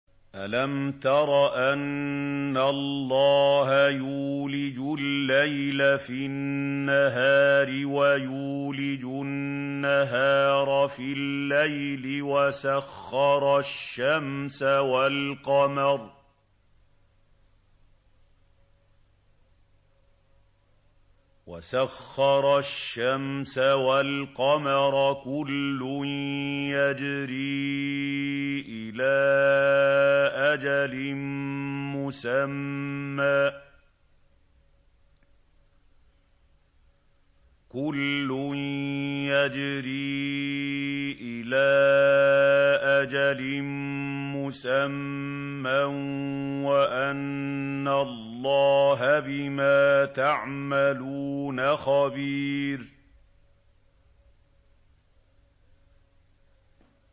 أَلَمْ تَرَ أَنَّ اللَّهَ يُولِجُ اللَّيْلَ فِي النَّهَارِ وَيُولِجُ النَّهَارَ فِي اللَّيْلِ وَسَخَّرَ الشَّمْسَ وَالْقَمَرَ كُلٌّ يَجْرِي إِلَىٰ أَجَلٍ مُّسَمًّى وَأَنَّ اللَّهَ بِمَا تَعْمَلُونَ خَبِيرٌ